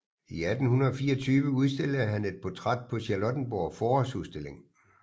I 1824 udstillede han et portræt på Charlottenborg Forårsudstilling